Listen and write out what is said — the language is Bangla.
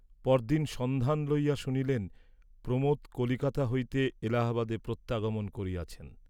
পরদিন সন্ধান লইয়া শুনিলেন প্রমোদ কলিকাতা হইতে এলাহাবাদে প্রত্যাগমন করিয়াছেন।